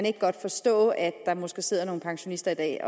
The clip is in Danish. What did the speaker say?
ikke godt forstå at der måske sidder nogle pensionister i dag